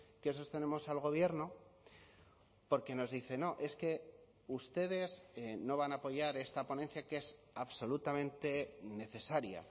que sostenemos al gobierno porque nos dice no es que ustedes no van a apoyar esta ponencia que es absolutamente necesaria